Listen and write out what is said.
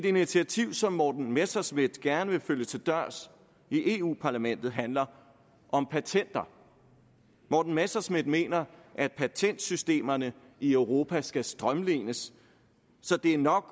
initiativ som morten messerschmidt gerne vil følge til dørs i eu parlamentet handler om patenter morten messerschmidt mener at patentsystemerne i europa skal strømlines så det er nok